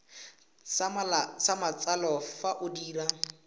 sa matsalo fa o dira